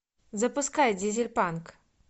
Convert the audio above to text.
запускай дизельпанк